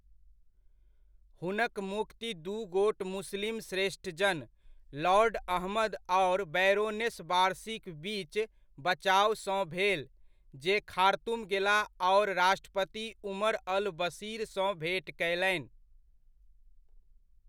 हुनक मुक्ति दू गोट मुस्लिम श्रेष्ठ जन, लॉर्ड अहमद आओर बैरोनेस वारसीक बीच बचावसँ भेल, जे खार्तूम गेलाह आओर राष्ट्रपति उमर अल बशीरसँ भेँट कयलनि।